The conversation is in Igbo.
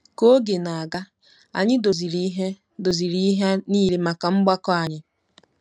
Ka oge na-aga, anyị doziri ihe doziri ihe nile maka mgbakọ anyị.